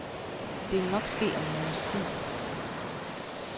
Det vil nok ske om en måneds tid.